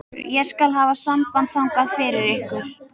Ég skal hafa samband þangað fyrir ykkur.